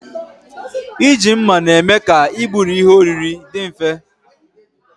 Iji mma na-eme ka igburi ihe oriri dị mfe